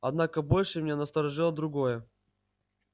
однако больше меня насторожило другое